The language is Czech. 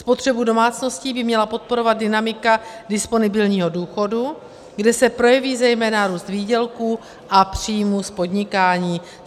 Spotřebu domácností by měla podporovat dynamika disponibilního důchodu, kde se projeví zejména růst výdělků a příjmů z podnikání.